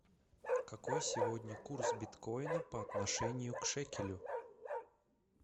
какой сегодня курс биткоина по отношению к шекелю